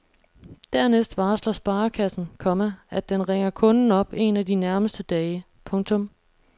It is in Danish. Dernæst varsler sparekassen, komma at den ringer kunden op en af de nærmeste dage. punktum